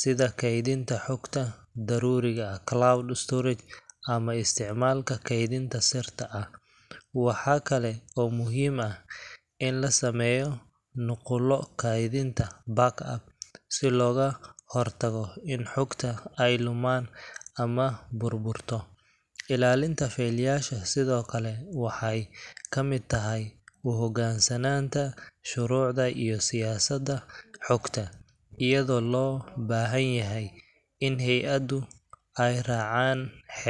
sida kaydinta xogta daruuriga cloud storage, ama isticmaalka keydinta sirta ah. Waxa kale oo muhiim ah in la sameeyo nuqullo kaydinta backup si looga hortago in xogta ay lumaan ama burburto. Ilaalinta faylasha sidoo kale waxay ka mid tahay u hoggaansanaanta shuruucda iyo siyaasadaha xogta, iyadoo loo baahan yahay in hay'aduhu ay raacaan xeerarka.